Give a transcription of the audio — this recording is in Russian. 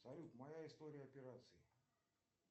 салют моя история операций